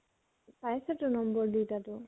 পাইছʼ তো নম্বৰ দুইটাতো?